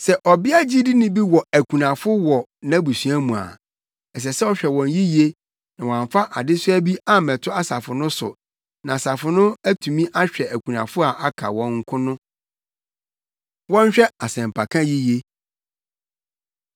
Sɛ ɔbea gyidini bi wɔ akunafo wɔ nʼabusua mu a, ɛsɛ sɛ ɔhwɛ wɔn yiye na wɔamfa adesoa bi ammɛto asafo no so na asafo no atumi ahwɛ akunafo a aka wɔn nko no. Wɔnhwɛ Asɛmpaka Yiye